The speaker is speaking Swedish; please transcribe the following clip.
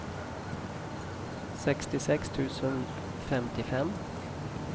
sextiosex tusen femtiofem